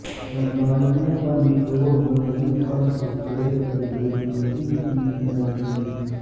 لمبائیوں پر نچوڑ منزل فرش اسکریڈ کے لئے بیکن کی تنصیب